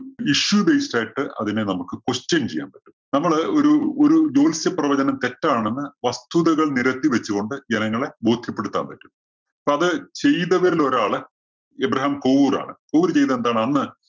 issue base ടായിട്ട് അതിനെ നമ്മുക്ക് question ചെയ്യാം പറ്റും. നമ്മള് ഒരു ഒരു ജോത്സ്യ പ്രവചനം തെറ്റാണെന്ന് വസ്തുതകൾ നിരത്തി വച്ചുകൊണ്ട് ജനങ്ങളെ ബോധ്യപ്പെടുത്താൻ പറ്റും. അപ്പോ അത് ചെയ്തവരിൽ ഒരാള് എബ്രഹാം കോവൂരാണ്. കോവൂര് ചെയ്തത് എന്താണ്? അന്ന്